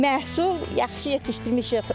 Məhsul yaxşı yetişdirmişik.